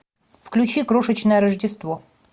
включи крошечное рождество